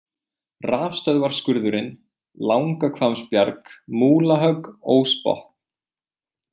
Rafstöðvarskurðurinn, Langahvammsbjarg, Múlahögg, Ósbotn